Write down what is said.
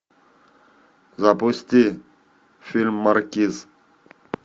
запусти фильм маркиз